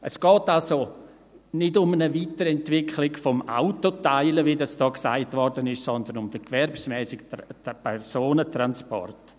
Es geht also nicht um eine Weiterentwicklung des «Autoteilens», wie hier gesagt wurde, sondern um den gewerbsmässigen Personentransport.